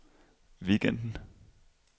weekenden